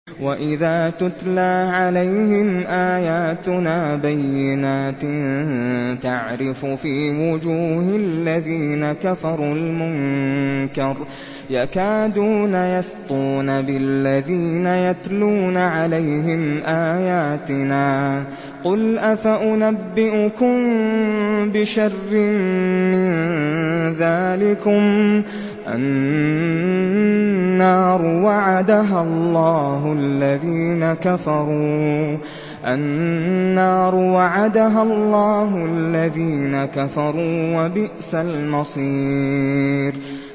وَإِذَا تُتْلَىٰ عَلَيْهِمْ آيَاتُنَا بَيِّنَاتٍ تَعْرِفُ فِي وُجُوهِ الَّذِينَ كَفَرُوا الْمُنكَرَ ۖ يَكَادُونَ يَسْطُونَ بِالَّذِينَ يَتْلُونَ عَلَيْهِمْ آيَاتِنَا ۗ قُلْ أَفَأُنَبِّئُكُم بِشَرٍّ مِّن ذَٰلِكُمُ ۗ النَّارُ وَعَدَهَا اللَّهُ الَّذِينَ كَفَرُوا ۖ وَبِئْسَ الْمَصِيرُ